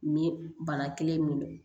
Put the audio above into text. Ni bana kelen min don